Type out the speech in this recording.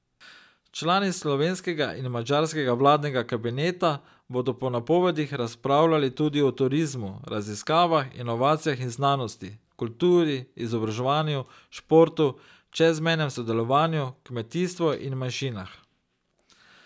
Člani slovenskega in madžarskega vladnega kabineta bodo po napovedih razpravljali tudi o turizmu, raziskavah, inovacijah in znanosti, kulturi, izobraževanju, športu, čezmejnem sodelovanju, kmetijstvu in manjšinah.